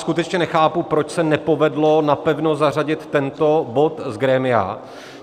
Skutečně nechápu, proč se nepovedlo napevno zařadit tento bod z grémia.